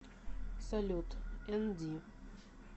салют энди